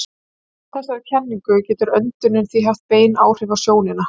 Samkvæmt þessari kenningu getur öndunin því haft bein áhrif á sjónina.